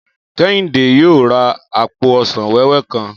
Kẹ́hìndé yóò ra àpò ọsàn wẹ́wẹ́ kan